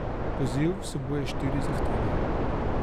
Poziv vsebuje štiri zahteve.